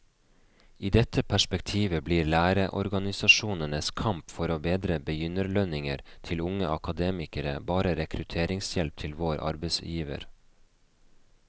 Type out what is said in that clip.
I dette perspektivet blir lærerorganisasjonenes kamp for å bedre begynnerlønninger til unge akademikere bare rekrutteringshjelp til vår arbeidsgiver.